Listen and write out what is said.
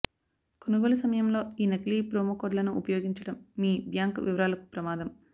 కొనుగోలు సమయంలో ఈ నకిలీ ప్రోమో కోడ్లను ఉపయోగించడం మీ బ్యాంక్ వివరాలకు ప్రమాదం